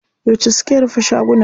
Yauce suke rufe shagunan?